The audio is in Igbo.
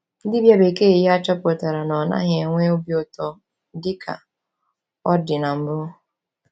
Dibia bekee ya chọpụtara na ọ naghị enwe obi ụtọ dị ka ọ dị na mbụ.